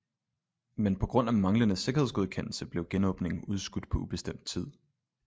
Men på grund af manglende sikkerhedsgodkendelse blev genåbningen udskudt på ubestemt tid